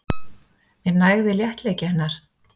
Mér nægði léttleiki hennar.